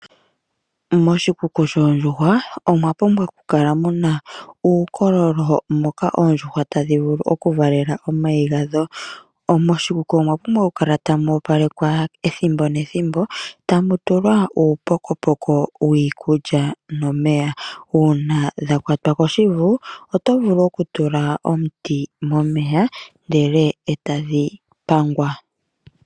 Moshikuku shoondjuhwa omwa pumbwa oku kala muna uukololo moka oondjuhwa tadhi vulu oku valela omayi gadho. Moshikuku omwa pumbwa okoopalekwa ethimbo nethimbo eta mu tulwa uupokopoko wiikulya nomeya. Uuna dha kwatwa koshivu oto vulu oku tula omuti moye ndele etadhi pangwa.